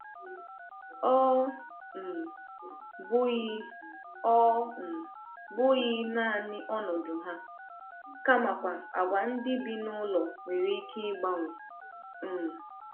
Ọ um bụghị Ọ um bụghị naanị ọnọdụ ha, kamakwa àgwà ndị bi n’ụlọ nwere ike ịgbanwe. um